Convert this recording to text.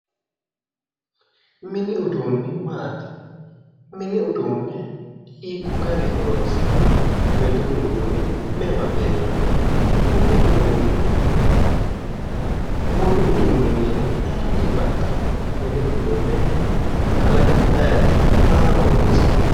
Mini uduunni maati mini huduunne hiiko garinni horoonsi'nayi mini uduunni me'ewa beehamanno mini uduunni wolu uduunni mayinni baxxinno mini uduunne kalaqihu ayiti maaho horoonsi'nayi